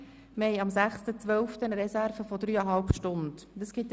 Am 6. Dezember haben wir eine Reserve von dreieinhalb Stunden zur Verfügung.